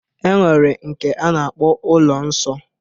E nwere nke a na-akpọ ụlọ nsọ.